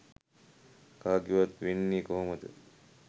කාගෙවත් වෙන්නෙ කොහොමද?